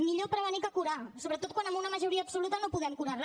millor prevenir que curar sobretot quan amb una majoria absoluta no podem curar re